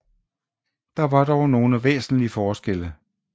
Der var dog nogle væsentlige forskelle